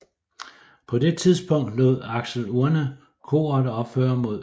På det tidspunkt lod Axel Urne koret opføre mod øst